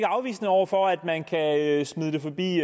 afvisende over for at man kan smide det forbi